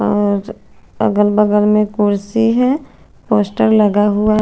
आज अगल बगल में कुर्सी है पोस्टर लगा हुआ है।